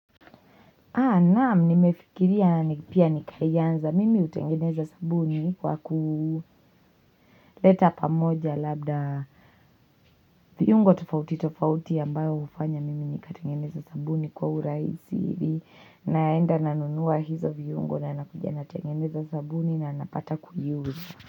Haa naam nimefikiria ni pia nikaianza mimi hutengeneza sabuni kwa kuleta pamoja labda viungo tofauti tofauti ambayo hufanya mimi nikatengeneza sabuni kwa urahisi hivi naenda nanunua hizo viungo na nakuja natengeneza sabuni na napata kujiuza.